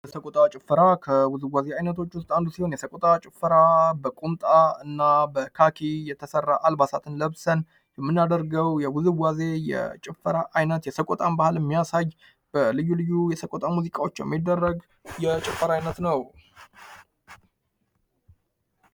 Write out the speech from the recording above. የሰቆጣ ጭፈራ ከውዝዋዜዎች ውስጥ አንዱ ሲሆን የስቆጣ ጭፈራ በቁምጣ እና በካኪ የተሰራ አልባሳትን ለብሰን የመናደርገው የውዝዋዜ የጭፈራ አይነት የሰቆጣን ባህል የሚያሳይ የተለያዩ ልዩ ልዩ ውበት ያለው የጭፈራ አይነት ነው።